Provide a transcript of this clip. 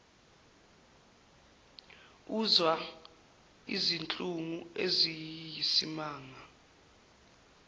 uzwa izinhlungu eziyisimanga